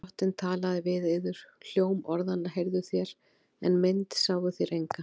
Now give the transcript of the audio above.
Drottinn talaði við yður. hljóm orðanna heyrðuð þér, en mynd sáuð þér enga.